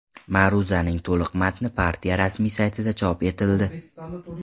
Ma’ruzaning to‘liq matni partiya rasmiy saytida chop etildi .